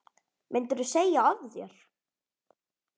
Myndirðu segja af þér?